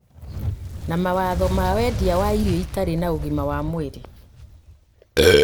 na mawatho ma wendia wa irio itarĩ na ũgima wa mwĩrĩ